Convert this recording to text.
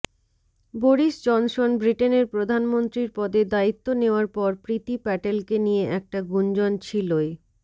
Boris Johnson ব্রিটেনের প্রধানমন্ত্রীর পদে দায়িত্ব নেওয়ার পর প্রীতি প্যাটেলকে নিয়ে একটা গুঞ্জন ছিলই